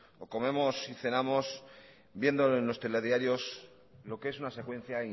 o comemos y cenamos viendo en los telediarios lo que es una secuencia